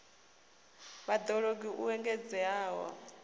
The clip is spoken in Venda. vhad ologi u engedzea ha